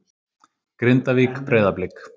Grindavík- Breiðablik